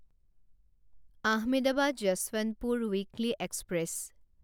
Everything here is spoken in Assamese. Ahmedabad Yesvantpur weekly express